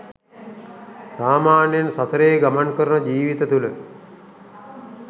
සාමාන්‍යයෙන් සසරේ ගමන් කරන ජීවිත තුළ